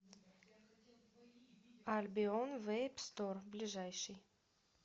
альбион вэйп стор ближайший